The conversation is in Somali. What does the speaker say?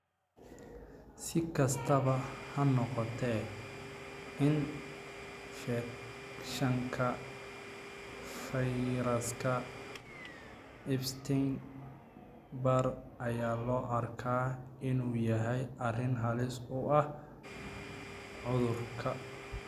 Si kastaba ha noqotee, infekshanka fayraska Epstein Barr ayaa loo arkaa inuu yahay arrin halis u ah cudurka.